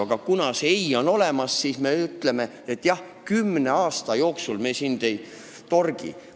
Aga kuna meil on see ei olemas, siis me ütleme, et me sind kümne aasta jooksul ei torgi.